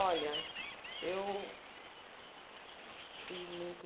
Olha, eu fui muito...